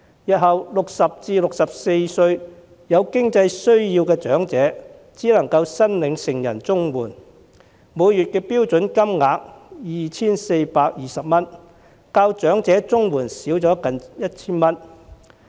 那些60至64歲有經濟需要的長者，日後只能夠申領成人綜援，每月標準金額是 2,420 元，較長者綜援的金額少近 1,000 元。